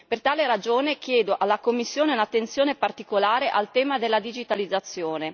Per tale ragione, chiedo alla Commissione un'attenzione particolare al tema della digitalizzazione.